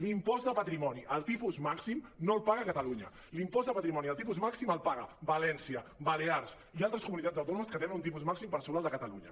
l’impost de patrimoni al tipus màxim no el paga catalunya l’impost de patrimoni al tipus màxim el paguen a valència balears i altres comuni·tats autònomes que tenen un tipus màxim per sobre el de catalunya